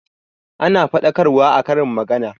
Ana faɗakarwa a karin magana